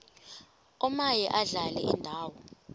omaye adlale indawo